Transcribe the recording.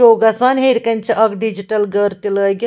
ہوگژھان ہیٚرِ کنہِ چھ اکھ ڈِجٹل .گٔر تہِ لٲگِتھ